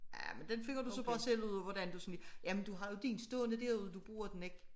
Ja men den finder du så bare selv ud af hvordan du jamen du har jo din stående derude du bruger den ikke